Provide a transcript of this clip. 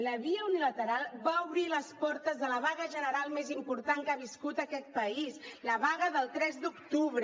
la via unilateral va obrir les portes de la vaga general més important que ha viscut aquest país la vaga del tres d’octubre